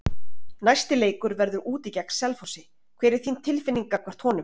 Næsti leikur verður úti gegn Selfossi, hver er þín tilfinning gagnvart honum?